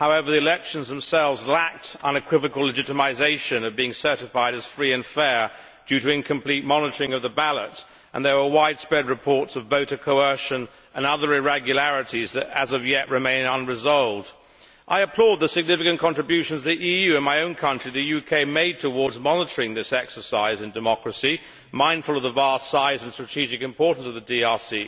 However, the elections themselves lacked the unequivocal legitimisation of being certified as free and fair, due to incomplete monitoring of the ballot, and there were widespread reports of voter coercion and other irregularities that, as of yet, remain unresolved. I applaud the significant contributions the EU and my own country, the UK, made towards monitoring this exercise in democracy, mindful of the vast size and strategic importance of the DRC.